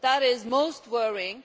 that is most worrying.